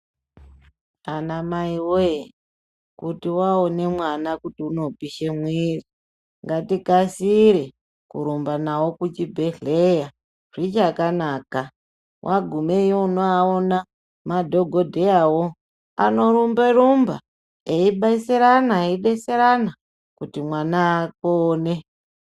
Anamai woye kuti waone mwana kuti unopishe mwiri ngatikasire kurumba nawo kuchibhedhleya zbichakanaka wagumeyo unoaona madhokodheyawo anorumba rumba eibetserana eibetserana kuti mwana apone.